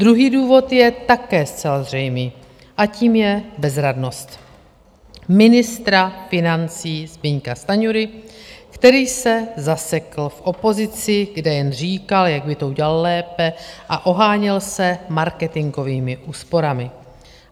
Druhý důvod je také zcela zřejmý, a tím je bezradnost ministra financí Zbyňka Stanjury, který se zasekl v opozici, kde jen říkal, jak by to udělal lépe a oháněl se marketingovými úsporami.